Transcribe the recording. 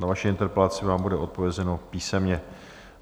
Na vaši interpelaci vám bude odpovězeno písemně.